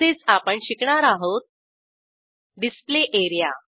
तसेच आपण शिकणार आहोत डिस्प्ले एरिया